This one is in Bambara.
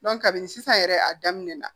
kabini sisan yɛrɛ a daminɛ na